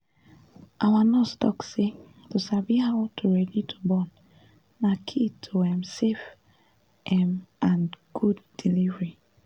our nurse talk say to sabi how to ready to born na key to um safe um and good delivery